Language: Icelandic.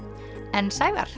en Sævar